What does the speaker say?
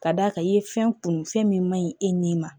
Ka d'a kan i ye fɛn kunun fɛn min man ɲi e ni